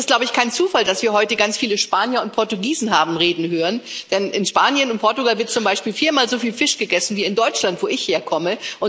Es ist, glaube ich, kein Zufall, dass wir heute ganz viele Spanier und Portugiesen haben reden hören, denn in Spanien und Portugal wird zum Beispiel viermal soviel Fisch gegessen wie in Deutschland, wo ich herkomme.